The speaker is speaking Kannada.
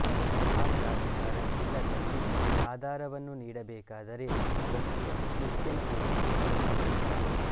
ಆ ಪ್ರಾಧಿಕಾರ ಇಲ್ಲದಲ್ಲಿ ಆಧಾರವನ್ನು ನೀಡಬೇಕಾದರೆ ಅದಕ್ಕೆ ಮುಖ್ಯನ ಒಪ್ಪಿಗೆ ಅವಶ್ಯ